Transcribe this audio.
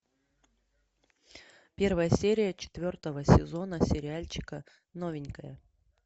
первая серия четвертого сезона сериальчика новенькая